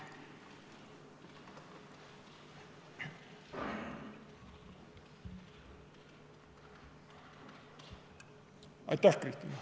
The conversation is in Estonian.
Aitäh, Kristina!